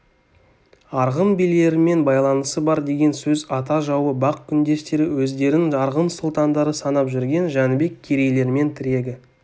арғын билерімен байланысы бар деген сөз ата жауы бақ күндестері өздерін арғын сұлтандары санап жүрген жәнібек керейлермен тілегі